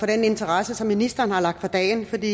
den interesse som ministeren har lagt for dagen for det